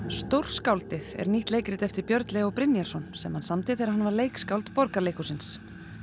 stórskáldið er nýtt leikrit eftir Björn Leó Brynjarsson sem hann samdi þegar hann var leikskáld Borgarleikhússins